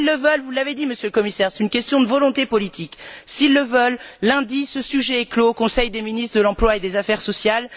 S'ils le veulent vous l'avez dit, Monsieur le Commissaire, c'est une question de volonté politique lundi, ce sujet est clos au Conseil des ministres de l'emploi et des affaires sociales.